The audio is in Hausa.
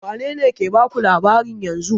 Wane ne ke baku labarin yanzun?